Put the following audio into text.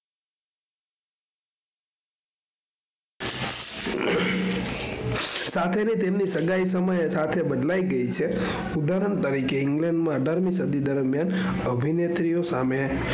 સાથે ની તેમની સગાઈ સમયે સાથે બદલાઈ ગઈ છે ઉદાહરણ તરીકે England માં અઠારમી સદી અભીનેત્રીઓ સામે